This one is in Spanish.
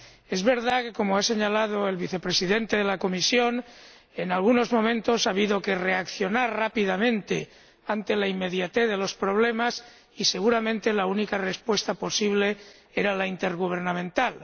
Es verdad que, como ha señalado el Vicepresidente de la Comisión, en algunos momentos ha habido que reaccionar rápidamente ante la inmediatez de los problemas y, seguramente, la única respuesta posible era la intergubernamental.